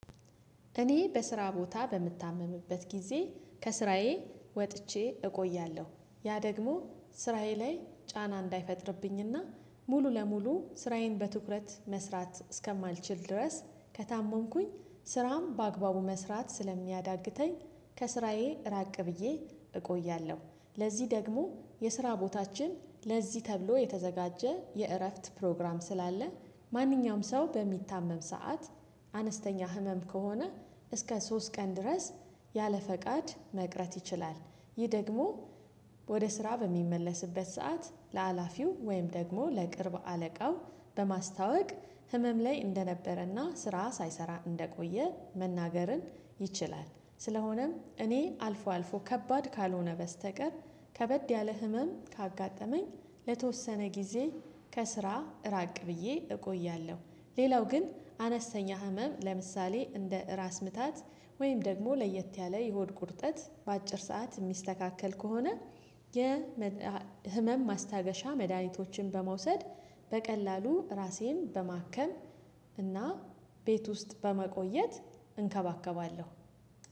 እኔ በስራ ቦታ በምታመምበት ጊዜ ከስራዬ ወጥቼ እቆያለሁ። ያ ደግሞ ስራዬ ላይ ጫና እንዳይፈጥርብኝና ሙሉ ለሙሉ ስራዬን በትኩረት መስራት እስከማልችል ድረስ ከታመምኩኝ ስራም በአግባቡ መስራት ስለሚያዳግተኝ ከስራዬ ራቅ ብዬ እቆያለሁ። ለዚህ ደግሞ የስራ ቦታችን ለዚህ ተብሎ የተዘጋጀ የእረፍት ፕሮግራም ስላለ ማንኛውም ሰው በሚታመም ሰዓት አነስተኛ ህመም ከሆነ እስከ ሶስት ቀን ድረስ ያለ ፈቃድ መቅረት ይችላል። ይህ ደግሞ ወደ ስራ በሚመለስበት ሰዓት ለሀላፊው ወይም ደግሞ ለቅርብ አለቃው በማስታወቅ ህመም ላይ እንደነበረና ስራ ሳይሰራ እንደቆየ መናገርን ይችላል። ስለሆነም እኔ አልፎ አልፎ ከባድ ካልሆነ በስተቀር ከበድ ያለ ህመም ካጋጠመኝ ለተወሰነ ጊዜ ከስራ ራቅ ብዬ እቆያለሁ። ሌላው ግን አነስተኛ ህመም ለምሳሌ እንደ ራስ ምታት ወይም ደግሞ ለየት ያለ የሆድ ቁርጠት በአጭር ሰዓት እሚስተካከል ከሆነ የ ህመም ማስታገሻ መድሃኒቶችን በመውሰድ በቀላሉ ራሴን በማከም እና ቤት ውስጥ በመቆየት እንከባከባለሁ